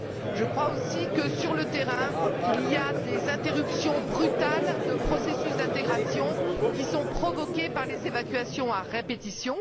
Je crois aussi que, sur le terrain, il y a des interruptions brutales de processus d'intégration qui sont provoquées par les évacuations à répétition.